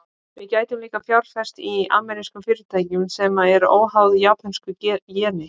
Við gætum líka fjárfest í amerískum fyrirtækjum, sem eru óháð japönsku jeni.